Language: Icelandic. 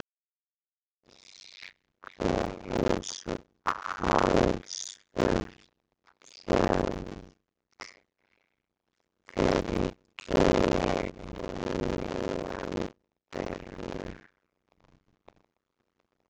Myrkrið eins og kolsvört tjöld fyrir glerinu í anddyrinu.